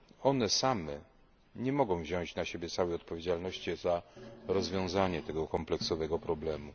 One same nie mogą wziąć na siebie całej odpowiedzialności za rozwiązanie tego kompleksowego problemu.